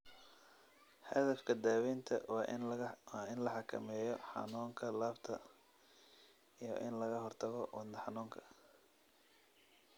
Hadafka daawaynta waa in la xakameeyo xanuunka laabta iyo in laga hortago wadne xanuunka.